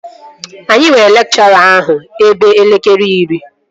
Anyị nwere lekchọra ahụ ebe elekere iri